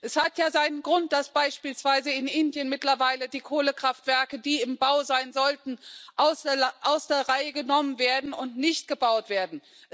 Es hat ja seinen Grund, dass beispielsweise in Indien mittlerweile die Kohlekraftwerke, die im Bau sein sollten, aus der Reihe genommen werden und nicht gebaut werden.